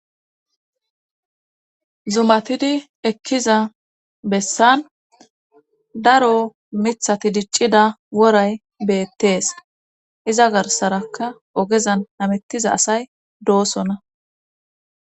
Zumatidi ekkiza bessan daro mithati diccida woray beettees iza garsaraka ogezan hamettiza asay doosona.